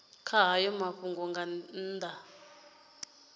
kha hayo mafhungo nga nnḓa